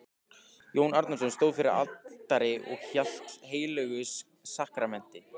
Jón Arason stóð fyrir altari og hélt á heilögu sakramenti.